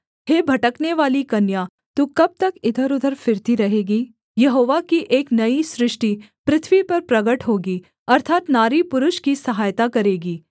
हे भटकनेवाली कन्या तू कब तक इधरउधर फिरती रहेगी यहोवा की एक नई सृष्टि पृथ्वी पर प्रगट होगी अर्थात् नारी पुरुष की सहायता करेगी